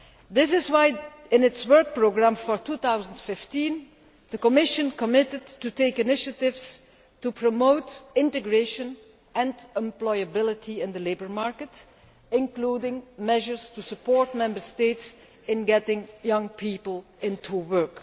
This is why, in its Work Programme for 2015, the Commission committed to taking initiatives to promote integration and employability in the labour market, including measures to support Member States in getting young people into work.